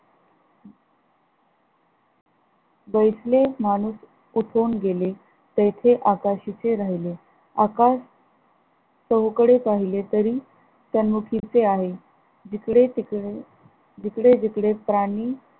बैसले माणूस उठून गेले तेथे आकाशाची राघिले आकाश चहूकडे पाहिले, तरी तन्मुखीचे आहे जिकडे तिकडे जिकडे इकडे प्राणी